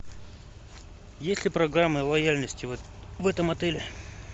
есть ли программа лояльности в этом отеле